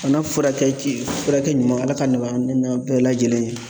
Bana furakɛ ji furakɛ ɲuman Ala k'a nɔgɔya ne n'aw bɛɛ lajɛlen ye.